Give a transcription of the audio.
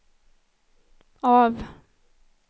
av